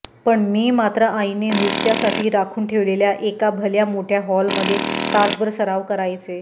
पण मी मात्र आईने नृत्यासाठी राखून ठेवलेल्या एका भल्या मोठ्या हॉलमध्ये तासभर सराव करायचे